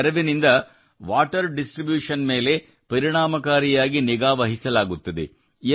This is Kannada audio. ಇದರ ನೆರವಿನಿಂದ ವಾಟರ್ ಡಿಸ್ಟ್ರಿಬ್ಯೂಷನ್ ಮೇಲೆ ಪರಿಣಾಮಕಾರಿಯಾಗಿ ನಿಗಾ ವಹಿಸಲಾಗುತ್ತದೆ